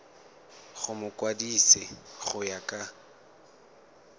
go mokwadise go ya ka